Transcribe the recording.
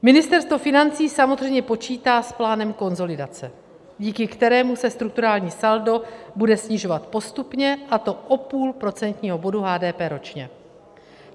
Ministerstvo financí samozřejmě počítá s plánem konsolidace, díky kterému se strukturální saldo bude snižovat postupně, a to o půl procentního bodu HDP ročně.